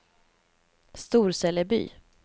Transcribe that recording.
Storseleby